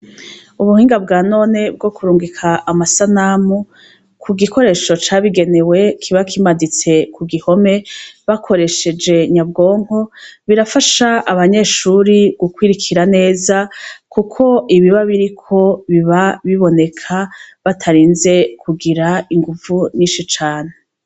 Ubuhinga bwa none bwo kurungika amasanamu kugikoresho cabigenewe kiba kimaditse kuruhome bakoresheje nyabwonko birafasha abanyeshure gukurikira kuko ibiba biriko biba biboneka batarinze kugira inguvu nyinshi cane.